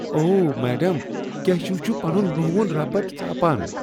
اوہ ! میڈم، کیشو چھٗ پنٗن نہون ربڈ ژاپان ۔